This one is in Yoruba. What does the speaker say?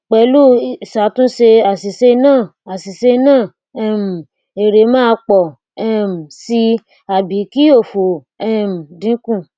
pelu isatunse asise naa asise naa um ere maa po um si abi ki ofo um dinku